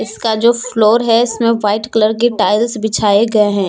इसका जो फ्लोर है इसमें वाइट कलर की टाइल्स बिछाए गए हैं।